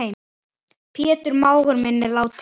Pétur mágur minn er látinn.